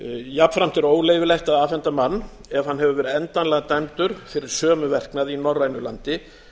jafnframt er óleyfilegt að afhenda mann ef hann hefur verið endanlega dæmdur fyrir sömu verknaði í norrænu landi